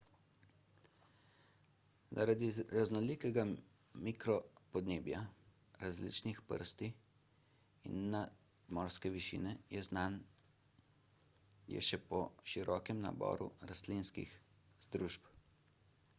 zaradi raznolikega mikropodnebja različnih prsti in nadmorske višine je znan je po širokem naboru rastlinskih združb